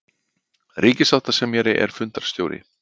Ríkissáttasemjari er fundarstjóri